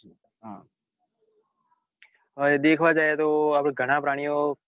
દેખાવા જાય તો ઘણા પ્રાણીઓ